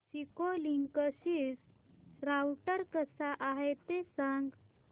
Cisco Linksys router कसा आहे ते सांग